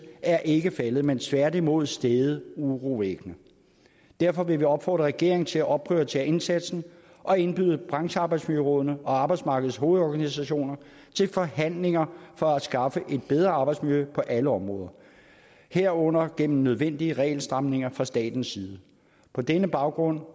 er ikke faldet men tværtimod steget urovækkende derfor vil vi opfordre regeringen til at opprioritere indsatsen og indbyde branchearbejdsmiljørådene og arbejdsmarkedets hovedorganisationer til forhandlinger for at skaffe et bedre arbejdsmiljø på alle områder herunder gennem nødvendige regelstramninger fra statens side på denne baggrund